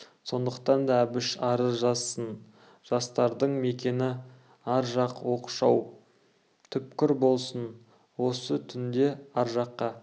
сондықтан да әбіш арыз жазсын жастардың мекені ар жақ оқшау түкпір болсын осы түнде ар жаққа